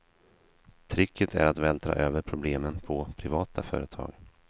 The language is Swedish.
Tricket är att vältra över problemen på privata företag.